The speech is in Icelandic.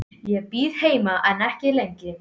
Ég bíð heima en ekki lengi.